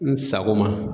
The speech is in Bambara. N sago ma